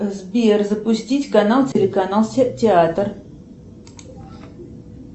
сбер запустить канал телеканал театр